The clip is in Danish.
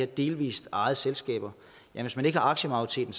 delvist ejede selskaber men hvis man ikke har aktiemajoriteten